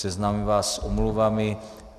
Seznámím vás s omluvami.